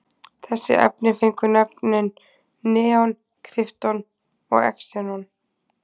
Þessi efni fengu nöfnin neon, krypton og xenon.